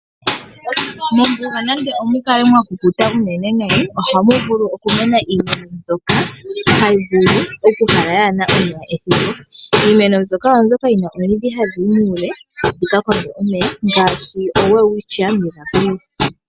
Mombuga nande omukale mwa kukuta nayi ohamu vulu oku mena iimeno mbyoka hayi vulu oku kala yaana omeya ethimbo. Iimeno mbyoka oyo mbyoka yina omiidhi hadhi yi muule dhika konge omeya, ngaashi oWelwichia Millabilis.